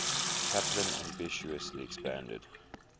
chaplin ambitiously expanded